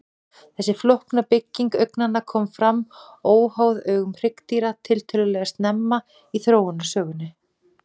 Þessi flókna bygging augnanna kom fram óháð augum hryggdýra tiltölulega snemma í þróunarsögunni.